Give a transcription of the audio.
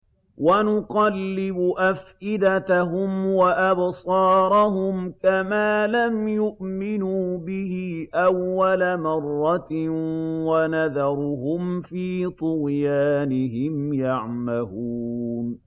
وَنُقَلِّبُ أَفْئِدَتَهُمْ وَأَبْصَارَهُمْ كَمَا لَمْ يُؤْمِنُوا بِهِ أَوَّلَ مَرَّةٍ وَنَذَرُهُمْ فِي طُغْيَانِهِمْ يَعْمَهُونَ